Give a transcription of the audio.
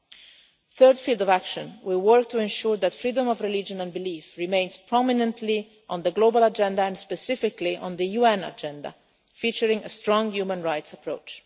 In the third field of action we work to ensure that freedom of religion and belief remains prominently on the global agenda and specifically on the UN agenda, featuring a strong human rights approach.